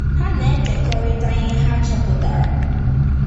Ha na-ekekọrịta ihe ha chọpụtara.